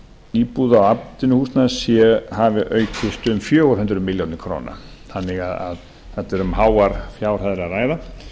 íbúða og atvinnuhúsnæðis hafi aukist fjögur hundruð milljóna króna þannig að þarna er um háar fjárhæðir að ræða